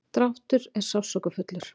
dráttur er sársaukafullur.